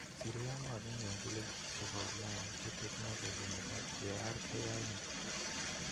Serie A ko agenge en ligit chepo ulaya che teknoligy chepo VAR keyaen.